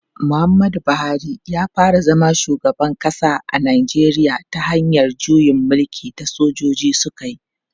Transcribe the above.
Muhammadu Buhari ya fara zama shugaban kasa a Najeriya ta hanyar juyin mulkin da sojoji suka yi.